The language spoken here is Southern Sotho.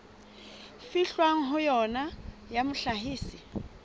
fihlwang ho yona ya mohlahisi